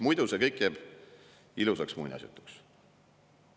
Muidu see kõik jääb ilusaks muinasjutuks.